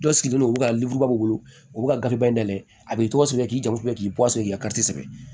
Dɔ sigilen don u bɛ ka wolo u bɛ kariba in dɛ a b'i tɔgɔ sɛbɛn i k'i janto k'i bɔ a sɔrɔ i ka sɛbɛn